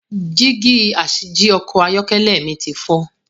Dígí asìjì Ọkọ̀ ayọ́kẹ́lẹ̀ mi ti fọ.